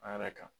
A yɛrɛ kan